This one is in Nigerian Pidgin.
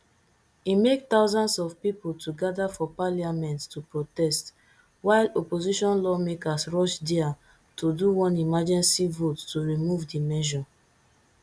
e make thousands of people to gather for parliament to protest while opposition lawmakers rush dia to do one emergency vote to remove di measure